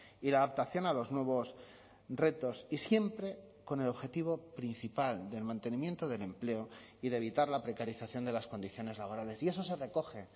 y la adaptación a los nuevos retos y siempre con el objetivo principal del mantenimiento del empleo y de evitar la precarización de las condiciones laborales y eso se recoge